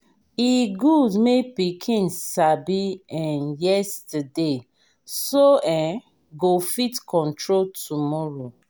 e good make pikin sabi en yesterday so en go fit control tomorrow.